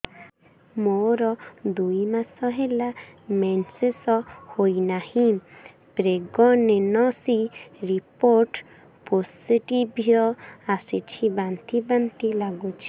ମୋର ଦୁଇ ମାସ ହେଲା ମେନ୍ସେସ ହୋଇନାହିଁ ପ୍ରେଗନେନସି ରିପୋର୍ଟ ପୋସିଟିଭ ଆସିଛି ବାନ୍ତି ବାନ୍ତି ଲଗୁଛି